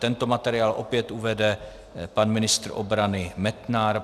Tento materiál opět uvede pan ministr obrany Metnar.